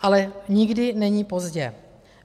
Ale nikdy není pozdě.